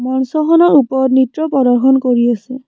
মঞ্চখনৰ ওপৰত নৃত্য প্ৰদৰ্শন কৰি আছে।